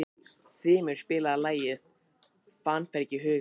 Þrymur, spilaðu lagið „Fannfergi hugans“.